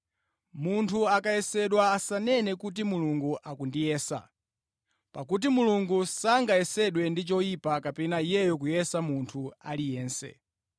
Munthu akayesedwa asanene kuti, “Mulungu akundiyesa.” Pakuti Mulungu sangayesedwe ndi choyipa kapena Iyeyo kuyesa munthu aliyense.